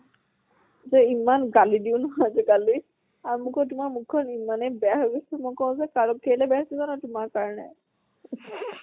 যে ইমান গালি দিওঁ ন আজি কালি। আৰু মোকো তোমাৰ মুখ খন ইমানে বেয়া হৈ গৈছে। মই ক্ওঁ যে কালৈ কেলৈ বেয়া হৈছে জানা? তোমাৰ কাৰণে